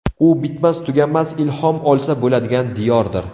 U bitmas-tuganmas ilhom olsa bo‘ladigan diyordir.